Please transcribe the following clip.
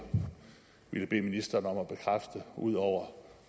ville bede ministeren om at bekræfte ud over